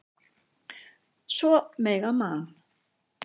Svo mega Man.